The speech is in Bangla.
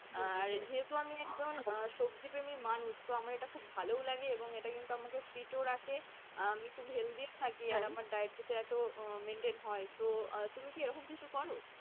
যেহেতু আমি একজন সবজিপ্রেমী মানুষ তো আমার এটা খুব ভালোও লাগে এবং এটা কিন্তু আমাকে fit ও রাখে। আমি খুব healthy থাকি আমার diet chart ও maintain হয় তো তুমি কি এরকম কিছু করো?